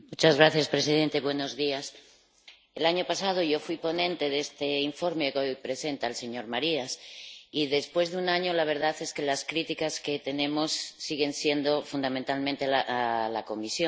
Señor presidente. El año pasado yo fui ponente de este informe que hoy presenta el señor Marias y, después de un año, la verdad es que las críticas que tenemos siguen siendo fundamentalmente a la Comisión.